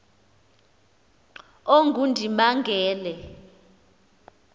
ongundimangele